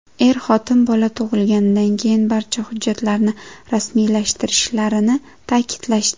Er-xotin bola tug‘ilganidan keyin barcha hujjatlarni rasmiylashtirishlarini ta’kidlashdi.